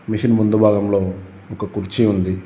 Machine ముందు భాగంలో ఒక కుర్చీ ఉంది.